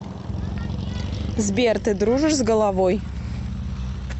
сбер ты дружишь с головой